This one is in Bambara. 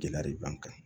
Gɛlɛya de b'an kan